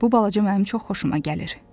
Bu balaca mənim çox xoşuma gəlir.